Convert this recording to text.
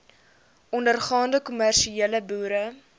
ondergaande kommersiële boere